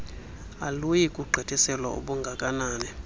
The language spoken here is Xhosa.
aluyi kugqithiselwa ubungakanani